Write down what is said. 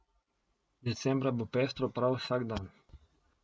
Decembra bo pestro prav vsak dan.